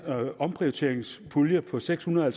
omprioriteringspulje på seks hundrede og